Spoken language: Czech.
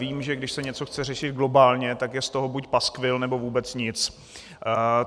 Vím, že když se něco chce řešit globálně, tak je z toho buď paskvil, nebo vůbec nic.